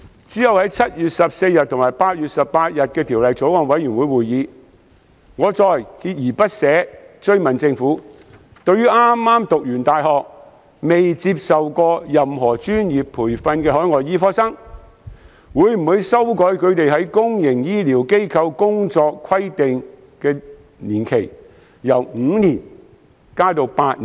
其後，在7月14日和8月18日的法案委員會會議上，我再鍥而不捨地追問，政府會否就剛剛大學畢業、尚未接受任何專業培訓的海外醫科生，修改他們在公營醫療機構工作的規定年期，由5年延長至8年。